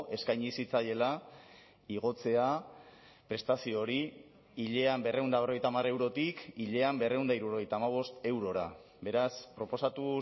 eskaini zitzaiela igotzea prestazio hori hilean berrehun eta berrogeita hamar eurotik hilean berrehun eta hirurogeita hamabost eurora beraz proposatu